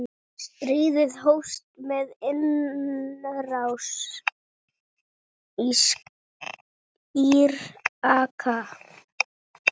Stríðið hófst með innrás Íraka.